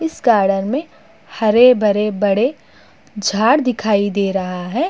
इस गार्डन में हरे-भरे बड़े झाड़ दिखाई दे रहा है।